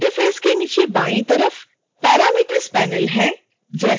interface के नीचे बाईं तरफ़ parameters panel है